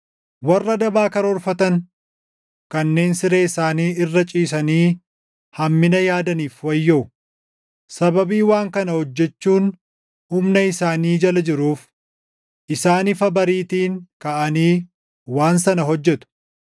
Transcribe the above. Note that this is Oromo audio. Warra daba karoorfatan kanneen siree isaanii irra // ciisanii hammina yaadaniif wayyoo! Sababii waan kana hojjechuun humna isaanii jala jiruuf isaan ifa bariitiin kaʼanii waan sana hojjetu.